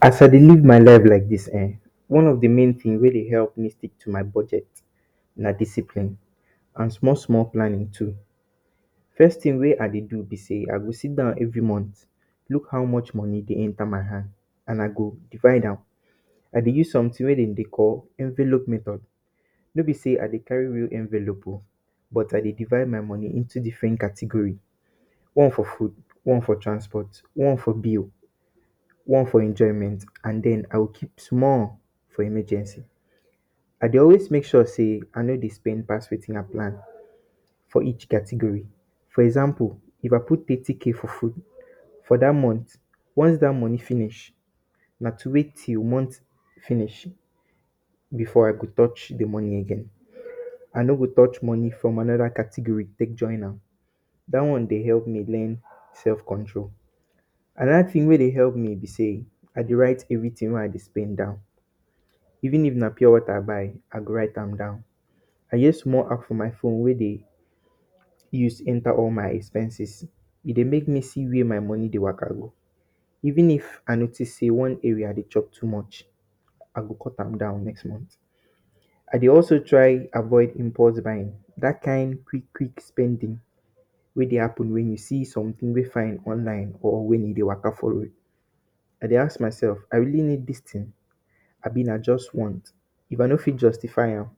As I dey live my life like dis ehn, one of di main tins wey dey epp me stick to my budget na discipline, and small small planning too. First tin wey I dey do be sey, I dey sit down every month, look how much money dey enta my hand, and I go divide am. I dey use sometin wey de dey call “envelope method.” No be sey I dey carry real envelope oh, but I dey divide my moni into different category. One for food, one for transport, one for bill, one for enjoyment, and then, I will keep small for emergency. I dey always make sure sey I no dey spend pass wetin I plan for each category. For example, if I put thirty kay for food, for dat month, once dat moni finish, na to wait till month finish before I go touch di moni again. I no go touch moni from anoda category take join am. Dat one dey epp me learn self control. Anoda tin wey dey epp me be sey, I dey write everytin wey I dey spend down. Even if na pure water I buy, I go write am down. I use small app for my phone wey dey use enta all my expenses. E dey make me see where my moni dey wa?ka? go. Even if I notice sey one area dey chop too much, I go cut am down next month. I dey also try avoid impulse buying. Dat kain quick quick spending wey dey happen wen you see sometin wey fine online, or wen you dey wa?ka? for road. I dey ask mysef “I really need dis tin, abi na just want?” If I no fit justify am,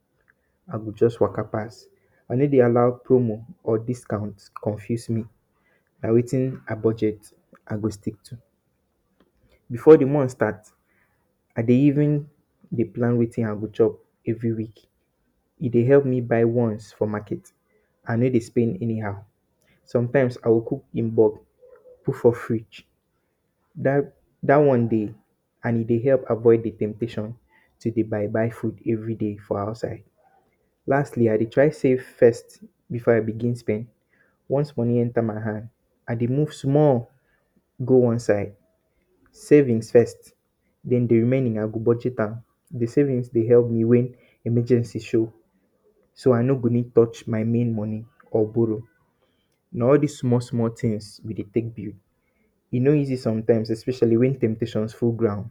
I go just wa?ka? pass. I no dey allow promo or discount confuse me. Na wetin I budget I go stick to. Before di month start, I dey even dey plan wetin I go chop every week. E dey epp me buy once for market. I no dey spend anyhow. Sometimes, I go cook in bulk, put for fridge. Dat dat one dey, and e dey epp avoid di temptation to dey buy buy food everyday for outside. Lastly, I dey try save first before I begin spend. Once money enta my hand, I dey move small go one side. Savings first. Then, di remaining I go budget am. Di savings dey epp me wen emergency show, so I no go need touch my main moni or borrow. Na all dis small small tins we dey take build. E no easy sometimes especially wen temptations full ground.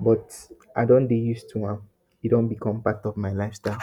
But, I don dey use to am. E don become part of my lifestyle.